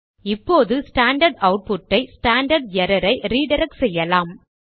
இப்போது ஸ்டாண்டர்ட் அவுட்புட்டை standard error ஐ ரிடிரக்ட் செய்யலாம்